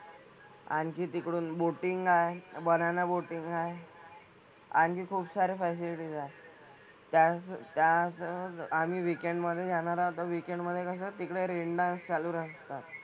आणखी तिकडून boating आहे. Banana boating आहे. आणि खुपसारे facilities आहेत. त्याच त्याच आम्ही weekend मधे जाणार आहोत तर मधे कसं तिकडे rain dance चालू असतात.